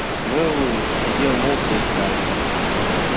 мэллоу сидел молча и ждал